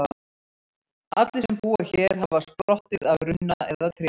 Allir sem búa hér hafa sprottið af runna eða tré.